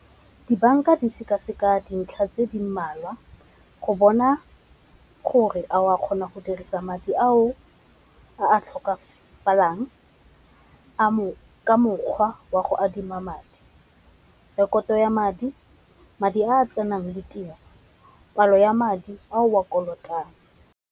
Dibanka di seka-seka dintlha tse di mmalwa go bona gore a o a kgona go dirisa madi ao a tlhokafalang ka mokgwa wa go adima madi. Rekoto ya madi, madi a tsenang ditiro palo ya madi a o a kolotang.